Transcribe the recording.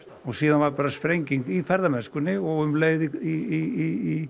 og síðan varð bara sprenging í ferðamennskunni og um leið í